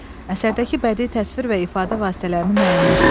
Əsərdəki bədii təsvir və ifadə vasitələrini müəyyənləşdirin.